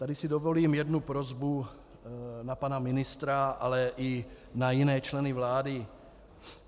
Tady si dovolím jednu prosbu na pana ministra, ale i na jiné členy vlády.